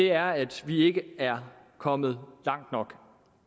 er at vi ikke er kommet langt nok